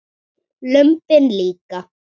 Lömbin líka.